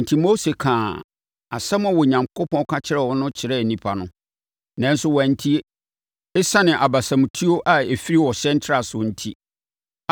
Enti, Mose kaa asɛm a Onyankopɔn ka kyerɛɛ no no kyerɛɛ nnipa no, nanso wɔantie, ɛsiane abasamutuo a ɛfiri ɔhyɛ ntrasoɔ enti.